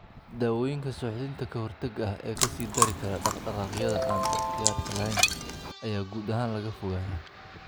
Daawooyinka suuxdinta ka-hortagga ah ee ka sii dari kara dhaqdhaqaaqyada aan ikhtiyaarka lahayn ayaa guud ahaan laga fogaadaa.